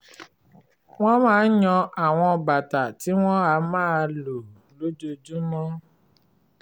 wọ́n máa ń yan àwọn bàtà tí wọ́n á máa lò lójoojúmọ́